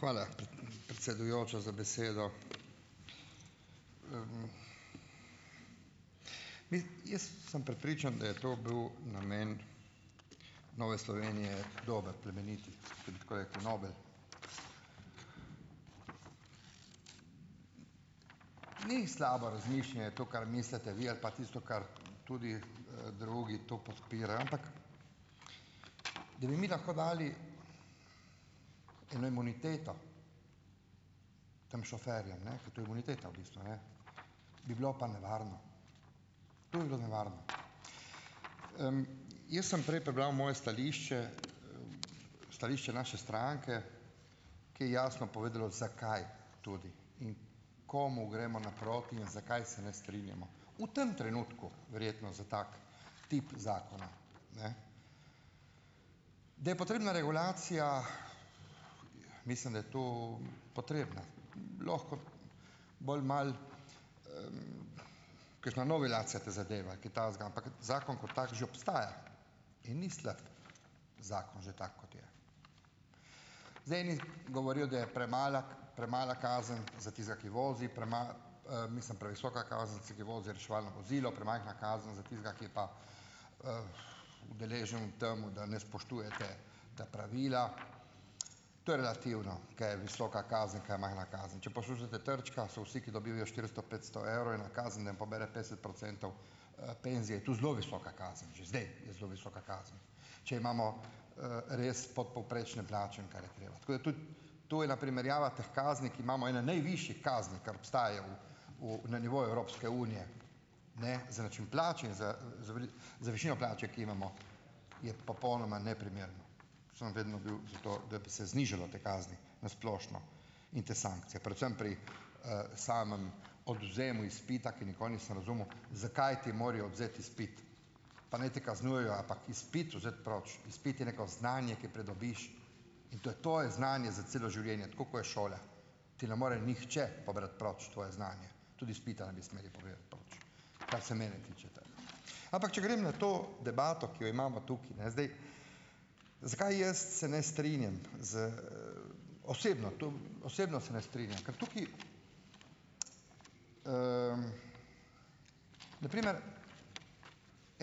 Hvala, predsedujoča, za besedo. Jaz sem prepričan, da je to bil namen Nove Slovenije dober, plemenit, da bi tako rekel, nobel. Ni slabo razmišljanje to, kar mislite vi, ali pa tisto, kar tudi, drugi to podpirajo, ampak da bi mi lahko dali eno imuniteto tem šoferjem, ne, ker to je imuniteta v bistvu, ne, bi bilo pa nevarno, to bi bilo nevarno. Jaz sem prej prebral moje stališče, stališče naše stranke, ki je jasno povedalo, zakaj tudi in komu gremo naproti in zakaj se ne strinjamo. V tem trenutku verjetno za tak tip zakona. Ne Da je potrebna regulacija, mislim, da je to potrebna, lahko bolj malo kakšna novelacija te zadeve, kaj takega, ampak zakon kot tak že obstaja in ni slab zakon že tak, kot je. Zdaj eni govorijo, da je premala, premala kazen za tistega, ki vozi mislim, previsoka kazen, za tistega, ki vozi reševalno vozilo, premajhna kazen za tistega, ki je pa, udeležen v tem, da ne spoštuje ta, ta pravila. To je relativno, kaj je visoka kazen ... Kaj je majhna kazen? Če poslušate Trčka, so vsi, ki dobijo štiristo, petsto evrov eno kazen, da jim pobere petdeset procentov, penzije je to zelo visoka kazen, že zdaj je zelo visoka kazen, če imamo, res podpovprečne plače. Tako da tudi ... To je ena primerjava teh kazni, ki imamo ene najvišjih kazni, kar obstajajo v, v, na nivoju Evropske unije. Ne, za način plače in z, z višino plače, ki jo imamo, je popolnoma neprimerna, sem vedno bil za to, da bi se znižalo te kazni na splošno in te sankcije, predvsem pri, samem odvzemu izpita, ki nikoli nisem razumel, zakaj ti morajo odvzeti izpit, pa naj te kaznujejo, ampak izpit vzeti proč, izpit je neko znanje, ki pridobiš, in to je te znanje za celo življenje, tako ko je šola. Ti ne more nihče pobrati proč tvoje znanje, tudi izpita ne bi smeli pobirati proč, kar se mene tiče. Ampak, če grem na to debato, ki jo imamo tukaj, ne, zdaj. Zakaj jaz se ne strinjam, z, osebno, to osebno se ne strinjam? Ker tukaj na primer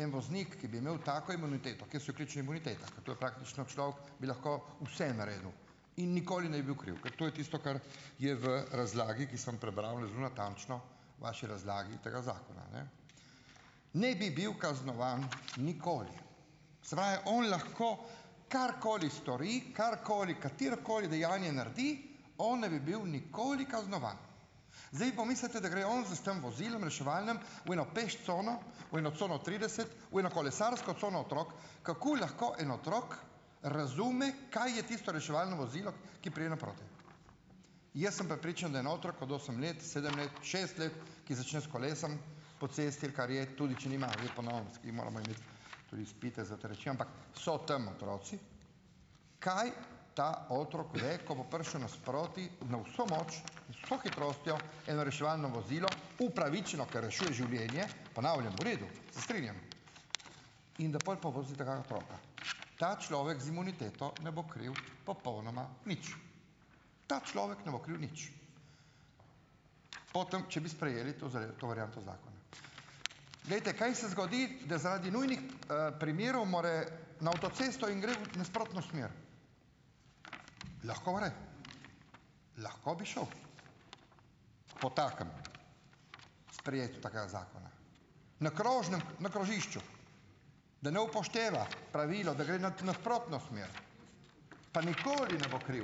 en voznik, ki bi imel tako imuniteto, kjer so vključene bonitete, to je praktično človek, bi lahko vse naredil in nikoli ne bi bil kriv, ker to je tisto, kar je v razlagi, ki sem prebral zelo natančno v vaši razlagi tega zakona, ne. Ne bi bil kaznovan nikoli, se pravi, on lahko karkoli stori, karkoli, katerokoli dejanje naredi, on ne bi bil nikoli kaznovan. Zdaj pomislite, da gre on s tem vozilom reševalnim v eno peš cono, v eno cono trideset, v eno kolesarsko cono otrok, kako lahko en otrok razume, kaj je tisto reševalno vozilo, ki pride naproti. Jaz sem prepričan, da en otrok od osem let, sedem let, šest let, ki začne s kolesom po cesti, ali kar je tudi, če nima - zdaj po novem moramo imeti tudi izpite za te reči -, ampak so tam otroci, kaj ta otrok ve, ko bo prišlo nasproti na vso moč, z vso hitrostjo eno reševalno vozilo upravičeno, ker rešuje življenje, ponavljam, v redu, se strinjam, in da, pol povozi tega otroka? Ta človek z imuniteto ne bo kriv popolnoma nič. Ta človek ne bo kriv nič, potem če bi sprejeli to zdaj to varianto zakona. Glejte, kaj se zgodi, da zaradi nujnih, primerov mora na avtocesto in gre v nasprotno smer? Lahko gre, lahko bi šel po takem sprejetju takega zakona. Na krožnem, ne, krožišču, da ne upošteva pravilo, da gre nad nasprotno smer pa nikoli ne bo kriv.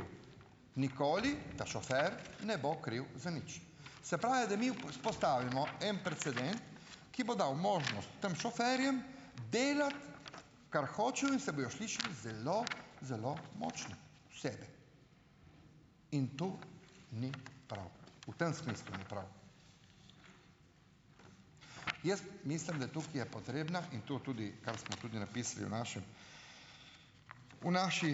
Nikoli ta šofer ne bo kriv za nič. Se pravi, da mi vzpostavimo en precedent, ki bo dal možnost tem šoferjem delati, kar hočejo, in se bojo šli šli zelo zelo močni v sebi in to ni prav, v tem smislu ni prav. Jaz mislim, da tukaj je potrebna in to tudi, kar smo tudi napisali v našem, v naši,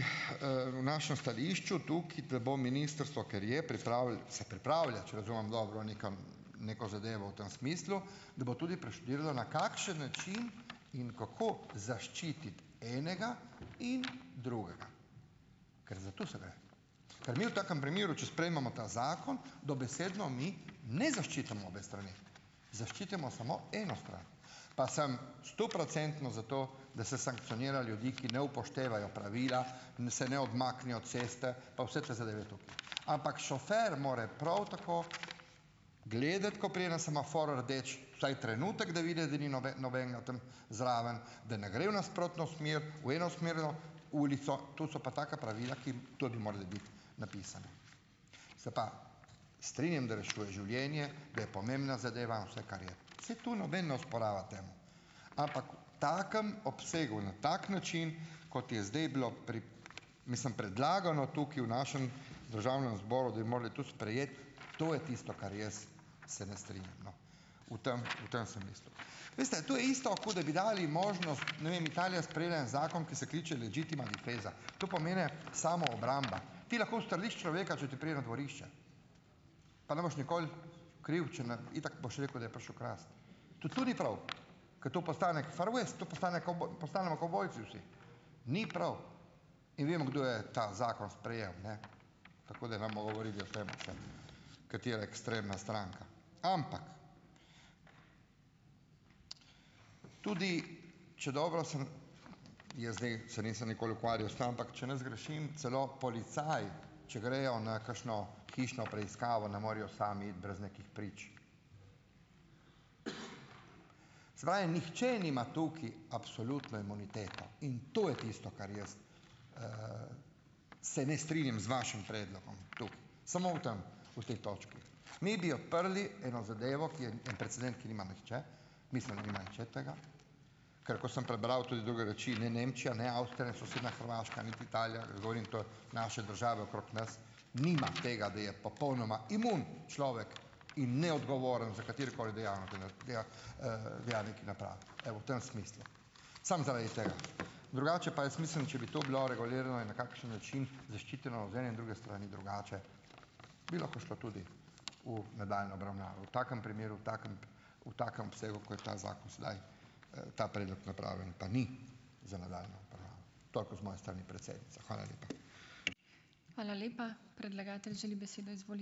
našem stališču tukaj, da bo ministrstvo, ker je se pripravlja, če razumem dobro, nekam neko zadevo v tem smislu, da bo tudi preštudirala, na kakšen način in kako zaščiti enega in drugega, ker za to se gre. Ker mi v takem primeru, če sprejmemo ta zakon, dobesedno mi ne zaščitimo obe strani, zaščitimo samo eno stran, pa sem stoprocentno za to, da se sankcionira ljudi, ki ne upoštevajo pravila, se ne odmaknejo od ceste pa vse te zadeve tukaj, ampak šofer mora prav tako gledati, ko pride na semafor rdeč vsaj trenutek, da vidi, da ni nobenega tam zraven, da ne gre v nasprotno smer, v enosmerno ulico, to so pa taka pravila, ki tudi morajo biti napisana. Se pa strinjam, da rešuje življenje, da je pomembna zadeva vse, kar je. Saj to noben ne osporava temu. Ampak v takem obsegu, na tak način, kot je zdaj bilo mislim, predlagano tukaj v našem državnem zboru, da bi morali to sprejeti, to je tisto, kar jaz se ne strinjam, no, v tem, v tem sem mislil. Veste, to je isto, kot da bi dali možnost, ne vem, Italija je sprejela en zakon, ki se kliče legittima difesa. To pomeni samoobramba. Ti lahko ustreliš človeka, če ti pride na dvorišče, pa ne boš nikoli kriv, če ne itak boš rekel, da je prišel krast. Tudi to ni prav, ker to postane far west, to postane postanemo kavbojci vsi. Ni prav in vemo, kdo je ta zakon sprejel, ne. Tako da ne bomo govorili o tem še, katera ekstremna stranka. Ampak tudi, če dobro sem, jaz zdaj se nisem nikoli ukvarjal s tem, ampak če ne zgrešim, celo policaji, če grejo na kakšno hišno preiskavo, ne morejo sami iti brez nekih prič. Se pravi, nihče nima tukaj absolutno imuniteto in to je tisto, kar jaz se ne strinjam z vašim predlogom tukaj, samo v tem, v tej točki. Mi bi odprli eno zadevo, ki je en "precedent", ki nima nihče, mislim, da nima nihče tega, ker ko sem prebral tudi druge reči, ne Nemčija, ne Avstrija in sosednja Hrvaška, niti Italija, govorim to naše države okrog nas, nima tega, da je popolnoma imun človek. Evo, v tem smislu. Samo zaradi tega. Drugače pa jaz mislim, če bi to bilo regulirano na kakšen način, zaščiteno iz ene in druge strani drugače, bi lahko šlo tudi v nadaljnjo obravnavo. V takem primeru, v takem v takem obsegu, kot je ta zakon sedaj, ta predlog napravljen pa ni. Toliko z moje strani, predsednica. Hvala lepa.